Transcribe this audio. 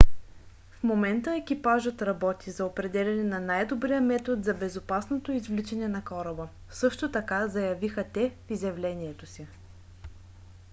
в момента екипажът работи за определяне на най-добрия метод за безопасното извличане на кораба също така заявиха те в изявлението си